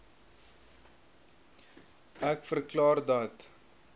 ek verklaar dat